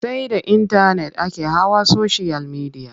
Sai da intanet ake hawa soshiyal midiya.